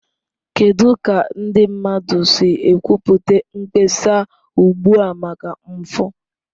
Kedu ka ndị mmadụ si ekwupụta mkpesa ugbu a maka mfu?